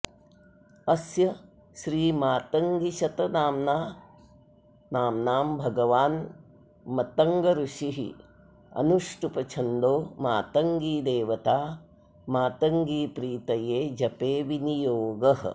अस्य श्रीमातङ्गीशतनाम्नाम्भगवान्मतङ्ग ऋषिरनुष्टुप्छन्दो मातङ्गी देवता मातङ्गीप्रीतये जपे विनियोगः